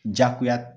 Jagoya